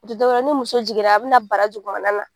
O tɛ dɔwɛrɛ ye ni muso jiginna a bina bara na.